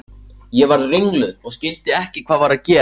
Ég varð ringluð og skildi ekki hvað var að gerast.